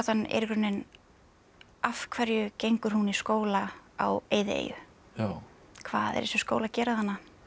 er í rauninni af hverju gengur hún í skóla á eyðieyju hvað er þessi skóli að gera þarna